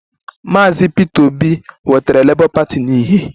Mr Peter obi wetara labour party na ìhè